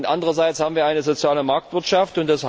Andererseits haben wir eine soziale Marktwirtschaft.